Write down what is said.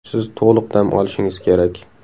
Siz to‘liq dam olishingiz kerak.